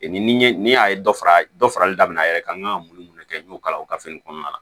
Ni ni y'a ye dɔ fara dɔ farali daminɛ a yɛrɛ kan n kan ka mun kɛ n y'o kalan o gafe in kɔnɔna la